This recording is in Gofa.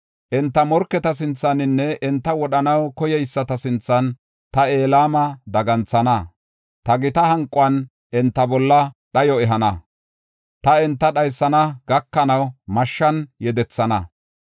Enta morketa sinthaninne enta wodhanaw koyeyisata sinthan ta Elama daganthana. Ta gita hanquwan enta bolla dhayo ehana. Ta enta dhaysana gakanaw mashshan yedethana.